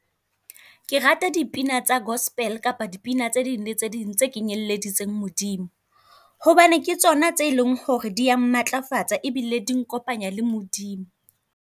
Ke rata dipina tsa gospel kapa dipina tse ding le tse ding tse kenyelleditseng Modimo, hobane ke tsona tse e leng ho re di ya matlafatsa e bile di nkopanya le Modimo.